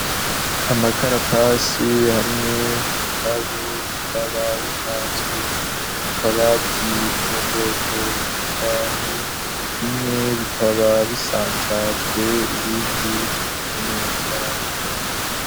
Amakaratasi hamwe n'ibitabu bikaba bipanzwe mu kabati ko mubwoko bw'imbaho bimwe bikaba bisanzajwe ibindi bitonze neza kumurongo.